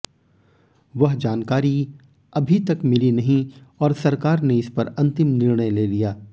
वह जानकारी अभी तक मिली नहीं और सरकार ने इस पर अन्तिम निर्णय ले लिया